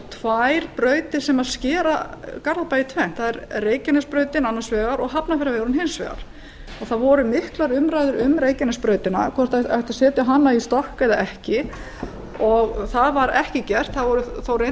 tvær brautir sem skera garðabæ í tvennt það er reykjanesbrautin annars vegar og hafnarfjarðarvegurinn hins vegar það voru miklar umræður um reykjanesbrautina hvort ætti að setja hana í stokk eða ekki og það var ekki gert það voru